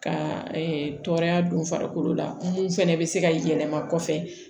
Ka tɔɔrɔya don farikolo la mun fɛnɛ be se ka yɛlɛma kɔfɛ